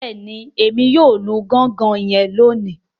Bẹẹni, Èmí yóò lù gangan yen loni